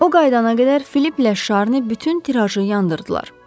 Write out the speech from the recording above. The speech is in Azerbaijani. O qayıdana qədər Filipplə Şarni bütün tirajı yandırdılar.